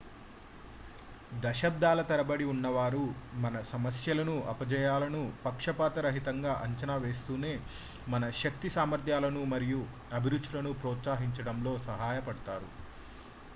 దశాబ్దాల తరబడి ఉన్నవారు మన సమస్యలను అపజయాలను పక్షపాత రహితంగా అంచనా వేస్తూనే మన శక్తి సామర్థ్యాలను మరియు అభిరుచులను ప్రోత్సహించడంలో సహాయపడ్డారు